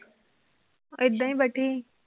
ਏਦਾਂ ਹੀ ਬੈਠੀ।